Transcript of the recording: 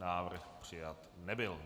Návrh přijat nebyl.